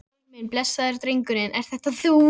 Friðrik minn, blessaður drengurinn, ert þetta þú?